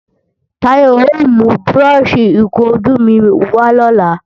Táyọ̀ ò mú búrọ́ọ̀ṣì ìkunjú mi wà lọ́la